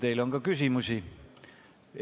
Teile on ka küsimusi.